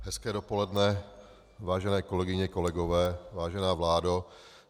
Hezké dopoledne, vážené kolegyně, kolegové, vážená vládo.